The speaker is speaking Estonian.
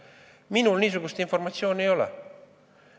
Minul niisugust informatsiooni ei ole.